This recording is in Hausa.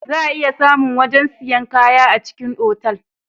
Za a iya samu wajen sayan kaya a cikin otal